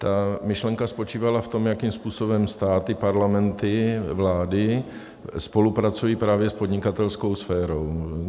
Ta myšlenka spočívala v tom, jakým způsobem státy, parlamenty, vlády spolupracují právě s podnikatelskou sférou.